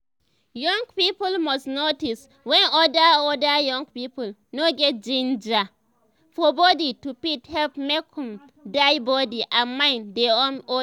young people must notice wen other other young people no get ginger for body to fit help make um dia body and mind dey um okay